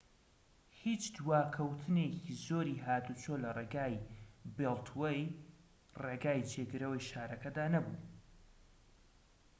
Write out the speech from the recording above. هیچ دواکەوتنێکی زۆری هاتوچۆ لە ڕێگای بێڵتوەی ڕێگای جێگرەوەی شارەکەدا نەبوو